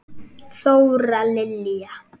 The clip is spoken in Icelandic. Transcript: Þóra Lilja.